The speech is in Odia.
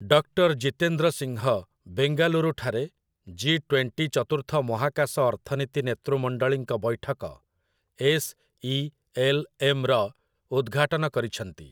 ଡକ୍ଟର୍ ଜିତେନ୍ଦ୍ର ସିଂହ ବେଙ୍ଗାଲୁରୁ ଠାରେ 'ଜି ଟ୍ୱେଣ୍ଟି' ଚତୁର୍ଥ ମହାକାଶ ଅର୍ଥନୀତି ନେତୃମଣ୍ଡଳୀଙ୍କ ବୈଠକ, ଏସ୍‌.ଇ.ଏଲ୍‌.ଏମ୍. ର ଉଦ୍‌ଘାଟନ କରିଛନ୍ତି।